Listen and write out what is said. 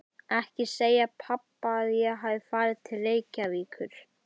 Ekki segja pabba að ég hafi farið til Reykjavíkur.